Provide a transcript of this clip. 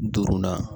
Duurunan